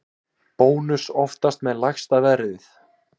Bónus oftast með lægsta verðið